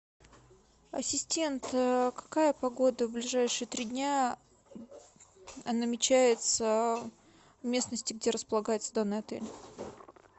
ассистент какая погода в ближайшие три дня намечается в местности где располагается данный отель